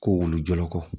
Ko wulu jɔyɔrɔkɔ